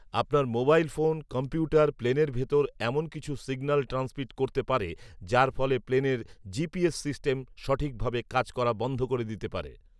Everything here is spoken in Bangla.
আপনার মোবাইল ফোন, কম্পিউটার প্লেনের ভেতর এমন কিছু সিগন্যাল ট্র্যান্সমিট করতে পারে যার ফলে প্লেনের জিপিএস সিস্টেম সঠিকভাবে কাজ করা বন্ধ করে দিতে পারে